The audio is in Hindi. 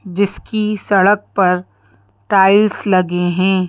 जिसकी सड़क पर टाइल्स लगे हैं।